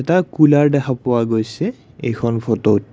এটা কুলৰ দেখা পোৱা গৈছে এইখন ফটোত।